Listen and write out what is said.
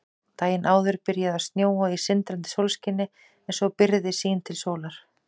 Daginn áður byrjaði að snjóa í sindrandi sólskini en svo byrgði sýn til sólar.